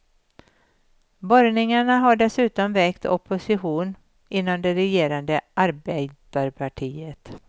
Borrningarna har dessutom väckt opposition inom det regerande arbeiderpartiet.